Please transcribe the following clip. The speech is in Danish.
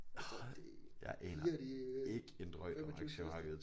Jeg tror det 4 af de øh 25 største